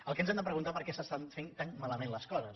el que ens hem de preguntar és per què s’estan fent tan malament les coses